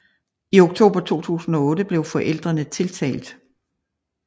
I oktober 2008 blev forældrene tiltalt